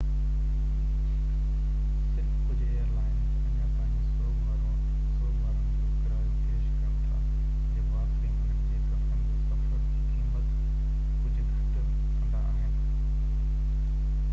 صرف ڪجهہ airlines اڃا تائين سوگ وارن جو ڪرايو پيش ڪن ٿا جيڪو آخري منٽ جي ڪفن جي سفر جي قيمت ڪجهہ گهٽ ڪندا آهن